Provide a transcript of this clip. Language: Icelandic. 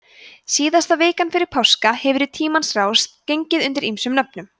síðasta vikan fyrir páska hefur í tímans rás gengið undir ýmsum nöfnum